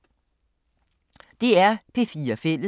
DR P4 Fælles